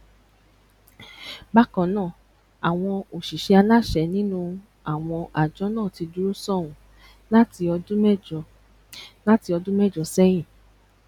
bákan náà àwọn òṣìṣẹ aláṣẹ nínú àwọn àjọ náà ti dúró sánún láti ọdún mẹjọ láti ọdún mẹjọ sẹyìn